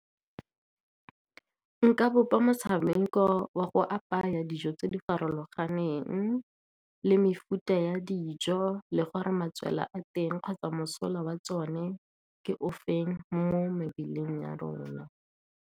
Nka bopa motshameko wa go apaya dijo tse di farologaneng le mefuta ya dijo, le gore matswela a teng kgotsa mosola wa tsone ke o feng mo mebeleng ya rona.